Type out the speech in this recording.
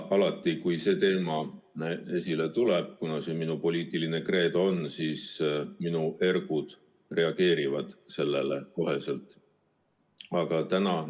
Alati, kui see teema esile tuleb, minu ergud reageerivad sellele kohe – on see ju minu poliitiline kreedo.